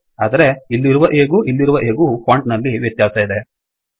ಆದರೆ ಇಲ್ಲಿರುವ A ಗೂ ಇಲ್ಲಿರುವ A ಗೂ ಫೊಂಟ್ ನಲ್ಲಿ ವ್ಯತ್ಯಾಸ ಇದೆ